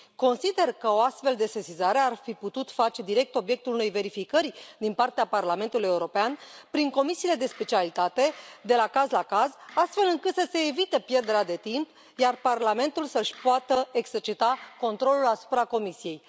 Consider că o astfel de sesizare ar fi putut face direct obiectul unei verificări din partea Parlamentului European prin comisiile de specialitate, de la caz la caz, astfel încât să se evite pierderea de timp, iar Parlamentul să își poată exercita controlul asupra Comisiei.